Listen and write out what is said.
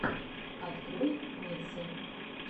открой миксы